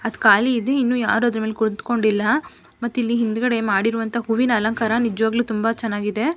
ಅದ್ ಖಾಲಿ ಇದೆ ಇನ್ನು ಯಾರು ಅದ್ರ ಮೇಲೆ ಕುಳಿತ್ಕೊಂಡಿಲ್ಲ ಮತ್ತೆ ಇಲ್ಲಿ ಹಿಂದುಗಡೆ ಮಾಡಿರುವಂತ ಹೂವಿನ ಅಲಂಕಾರ ನಿಜ್ವಾಗ್ಲೂ ತುಂಬಾ ಚೆನ್ನಾಗಿದೆ.